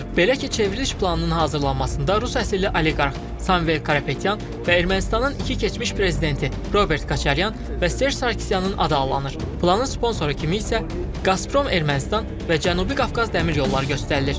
Belə ki, çevriliş planının hazırlanmasında Rus əsilli oliqarx Samvel Karapetyan və Ermənistanın iki keçmiş prezidenti Robert Koçaryan və Serj Sarkisyanın adı anılır.